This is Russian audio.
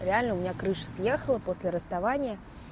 реально у меня крыша съехала после расставания